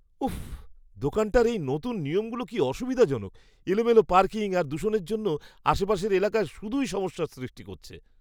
উফ্! দোকানটার এই নতুন নিয়মগুলো কি অসুবিধাজনক। এলোমেলো পার্কিং আর দূষণের জন্য আশপাশের এলাকায় শুধুই সমস্যার সৃষ্টি করছে!